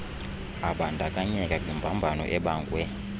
abandakanyeka kwimbambano ebangwe